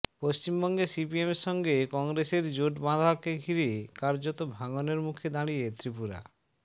পশ্চিমবঙ্গে সিপিএমের সঙ্গে কংগ্রেসের জোট বাঁধাকে ঘিরে কার্যত ভাঙনের মুখে দাঁড়িয়ে ত্রিপুরা